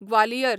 Gwalior